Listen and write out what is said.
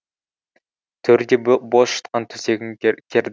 төрде бос жатқан төсегін керді